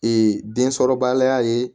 densɔrɔbaliya ye